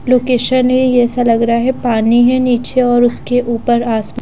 location ही ऐसा लग रहा है पानी है नीचे और उसके ऊपर आस पास--